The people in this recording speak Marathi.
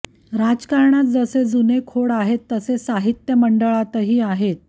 राजकारणात जसे जुने खोड आहेत तसे साहित्य महामंडळातही आहेत